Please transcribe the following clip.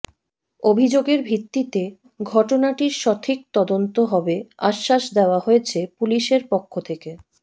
অভিযোগের ভিত্তিতে ঘটনাটির সঠিক তদন্ত হবে আশ্বাস দেওয়া হয়েছে পুলিশের পক্ষ থেকে